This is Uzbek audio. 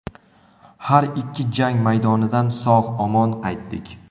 Har ikki jang maydonidan sog‘-omon qaytdik.